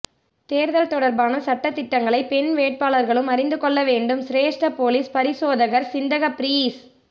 தேர்தல் தொடர்பான சட்டதிட்டங்களை பெண் வேட்பாளர்களும் அறிந்து கொள்ள வேண்டும் சிரேஷ்ட பொலிஸ் பரிசோதகர் சிந்தக பீரிஸ்